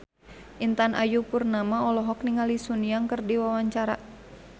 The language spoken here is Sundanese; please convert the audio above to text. Intan Ayu Purnama olohok ningali Sun Yang keur diwawancara